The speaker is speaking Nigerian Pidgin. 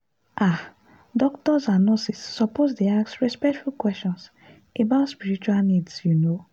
ah doctors and nurses suppose dey ask respectful questions about spiritual needs you know.